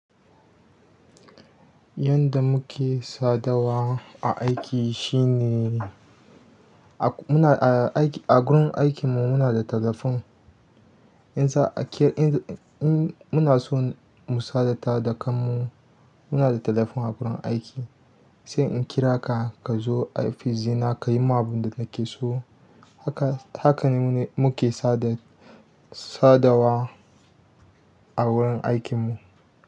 Yanda muke sadawa a aiki shi ne, a muna a gurin aikin mu muna da talafon. In za a kir, in in muna so mu sadata da kanmu muna da talafon a gurin aiki. Sai in kira ka, ka zo ofis ɗina, ka yi man abin da nake so. Haka, haka ne mune muke sadad- sadawa a wurin aikin mu.